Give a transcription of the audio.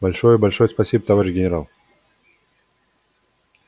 большое большое спасибо товарищ генерал